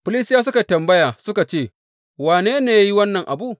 Filistiyawa suka yi tambaya suka ce, Wane ne ya yi wannan abu?